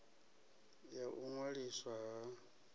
ya u ṅwaliswa ha bindu